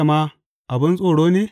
Haƙoranta ma abin tsoro ne?